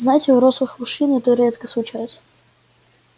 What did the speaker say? знаете у рослых мужчин это редко случалось